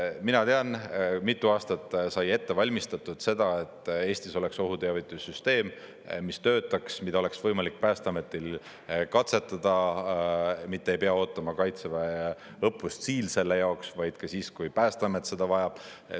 Mina tean, mitu aastat sai ette valmistatud seda, et Eestis oleks ohuteavitussüsteem, mis töötaks, mida oleks võimalik Päästeametil katsetada, mitte ei pea ootama Kaitseväe õppust Siil selle jaoks, vaid ka siis, kui Päästeamet seda vajab.